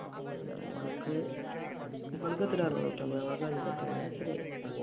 ഞങ്ങൾക്ക് നിങ്ങൾക്കെത്രയാ അറുനൂറ്റമ്പത് ഞങ്ങൾക്ക് അഞ്ഞൂറ്റി അങ്ങനെ എത്രയോവ